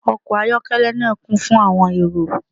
Ọkọ ayọkẹlẹ naa kun fun awọn ero